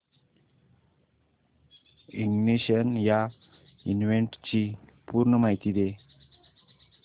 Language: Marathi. इग्निशन या इव्हेंटची पूर्ण माहिती दे